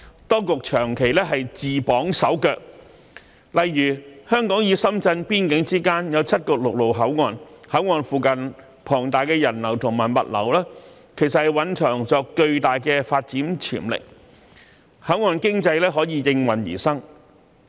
當局長期自綁手腳，例如香港與深圳邊境之間有7個陸路口岸，口岸附近龐大的人流和物流其實蘊藏着巨大的發展潛力，口岸經濟可以應運而生。